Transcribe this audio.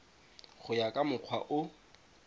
go ya ka mokgwa o